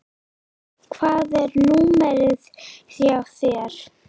Hvað er númerið hjá þér?